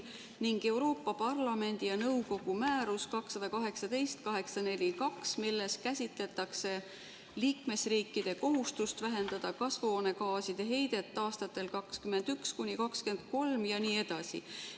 ning Euroopa Parlamendi ja nõukogu määrus 2018/842, milles käsitletakse liikmesriikide kohustust vähendada kasvuhoonegaaside heidet aastatel 2021–2030 ..." jne.